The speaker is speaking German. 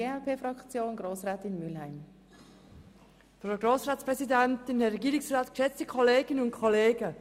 Nun hat Grossrätin Mühlheim für die glp-Fraktion das Wort.